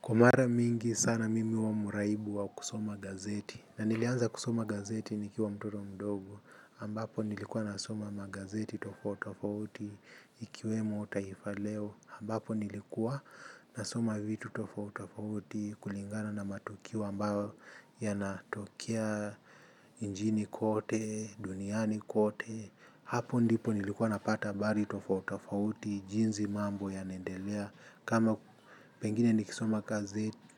Kwa mara mingi sana mimi huwa mraibu wa kusoma gazeti na nilianza kusoma gazeti nikiwa mtoto mdogo ambapo nilikuwa nasoma magazeti tofauti tofauti ikiwemo taifa leo ambapo nilikuwa nasoma vitu tofauti tofauti kulingana na matukio ambayo yanatokea nchini kote, duniani kote hapo ndipo nilikuwa napata habari tofauti tofauti jinsi mambo yanaendelea kama pengine nikisoma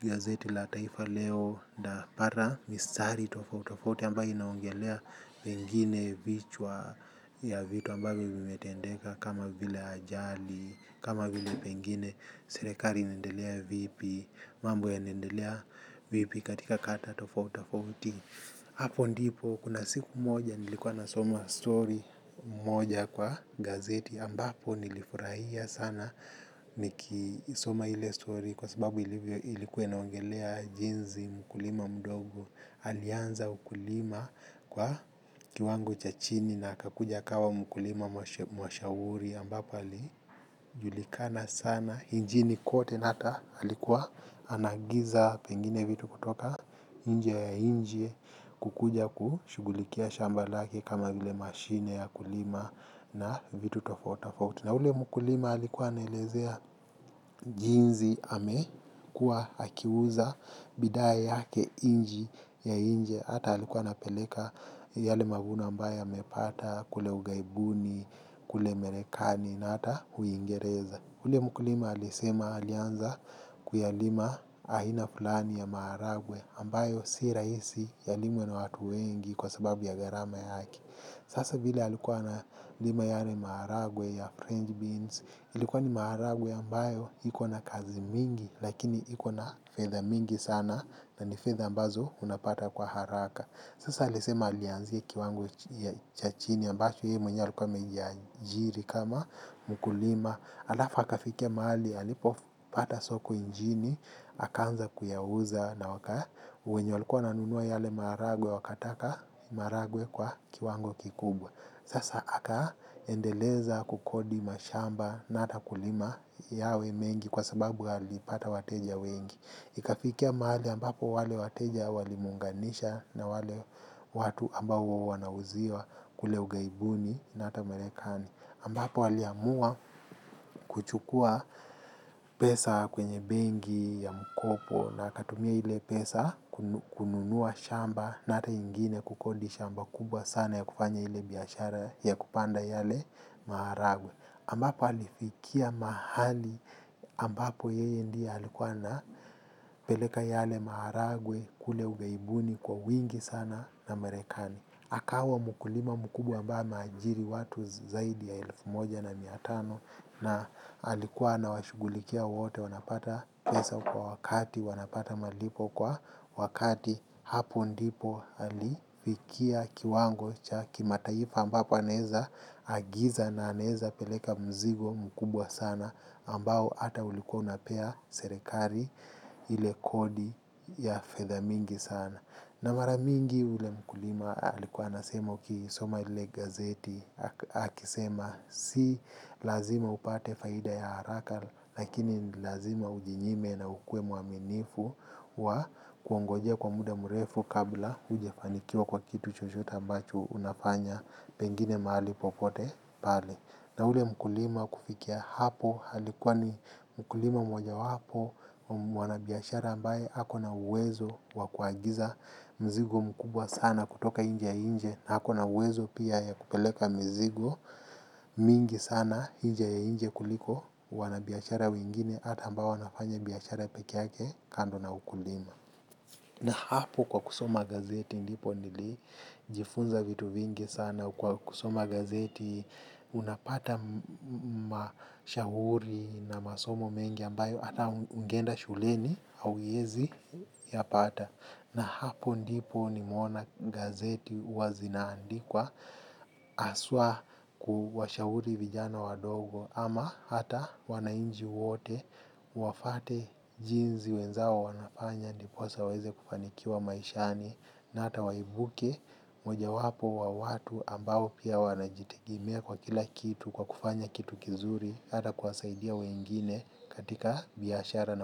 gazeti la taifa leo nitapata mistari tofauti tofauti ambayo inaongelea pengine vichwa ya vitu ambavyo vimetendeka kama vile ajali, kama vile pengine serikali inaendelea vipi, mambo yanaendelea vipi katika kata tofauti tofauti hapo ndipo kuna siku moja nilikuwa nasoma story moja kwa gazeti ambapo nilifurahia sana nikisoma ile story kwa sababu ilikuwa inaongelea jinsi mkulima mdogo alianza ukulima kwa kiwango cha chini na akakuja akawa mkulima mashuhuri ambapo alijulikana sana nchini kote na hata alikuwa anaagiza pengine vitu kutoka nje ya nchi kukuja kushughulikia shamba lake kama vile mashine ya kulima na vitu tofauti tofauti. Na ule mkulima alikuwa anaelezea jinsi amekuwa akiuza bidhaa yake nchi ya nje. Hata alikuwa anapeleka yale mavuno ambayo amepata kule ughaibuni, kule marekani na hata uingereza. Ule mkulima alisema alianza kuyalima aina fulani ya maharagwe ambayo si rahisi yalimwe na watu wengi kwa sababu ya gharama yake. Sasa vile alikuwa analima yale maharagwe ya french beans ilikuwa ni maharagwe ambayo iko na kazi mingi lakini iko na fedha mingi sana na ni fedha ambazo unapata kwa haraka. Sasa alisema alianzia kiwango cha chini ambacho yeye mwenyewe alikuwa amejiajiri kama mkulima. Halafu akafikia mahali alipopata soko nchini, akaanza kuyauza na wenye walikuwa wananunua yale maharagwe wakataka maharagwe kwa kiwango kikubwa. Sasa akaendeleza kukodi mashamba na hata kulima yawe mengi kwa sababu alipata wateja wengi. Ikafikia mahali ambapo wale wateja walimuunganisha na wale watu ambao huwa wanauziwa kule ughaibuni na hata marekani. Ambapo aliamua kuchukua pesa kwenye benki ya mkopo na akatumia ile pesa kununua shamba na hata ingine kukodi shamba kubwa sana ya kufanya ile biashara ya kupanda yale maharagwe. Ambapo alifikia mahali ambapo yeye ndiye alikuwa anapeleka yale maharagwe kule ughaibuni kwa wingi sana na marekani. Akawa mkulima mkubwa ambaye ameajiri watu zaidi ya elfu moja na mia tano na alikuwa anawashughulikia wote wanapata pesa kwa wakati wanapata malipo kwa wakati hapo ndipo alifikia kiwango cha kimataifa ambapo anaweza agiza na anaweza peleka mzigo mkubwa sana ambao hata ulikuwa unapea serikali ile kodi ya fedha mingi sana. Na mara mingi ule mkulima alikuwa anasema ukisoma ile gazeti akisema si lazima upate faida ya haraka lakini lazima ujinyime na ukuwe mwaminifu wa kungojea kwa muda mrefu kabla hujafanikiwa kwa kitu chochote ambacho unafanya pengine mahali popote pale. Na ule mkulima kufikia hapo alikuwa ni mkulima mojawapo wa wanabiashara ambaye ako na uwezo wa kuagiza mzigo mkubwa sana kutoka nchi ya nje na ako na uwezo pia ya kupeleka mzigo mingi sana nchi ya nje kuliko wanabiashara wengine hata ambao wanafanya biashara peke yake kando na ukulima. Na hapo kwa kusoma gazeti ndipo nilijifunza vitu vingi sana kwa kusoma gazeti unapata mashauri na masomo mengi ambayo hata ungeenda shuleni hauwezi yapata. Na hapo ndipo nimeona gazeti huwa zinaandikwa haswa kuwashauri vijana wadogo ama hata wananchi wote wafuate jinsi wenzao wanafanya ndiposa waweze kufanikiwa maishani na hata waibuke mojawapo wa watu ambao pia wanajitegemea kwa kila kitu kwa kufanya kitu kizuri hata kuwasaidia wengine katika biashara.